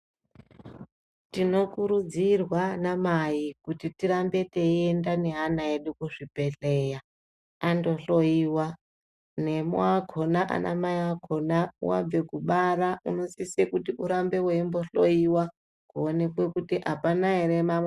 Tinokurudzirwa ana mai kuti tirambe teienda neana edu kuzvibhedhlera andohloiwa nemwi akhona ana mai akhona wabve kubara unosise kuti umbohloiwa kuone kuti apana ere mamwe.